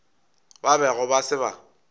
ba bego ba se ba